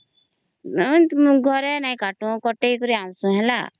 ନାଇଁ ଘରେ ନାଇଁ କାଟୁ କଟେଇ କିରି ଆଣୁଛୁ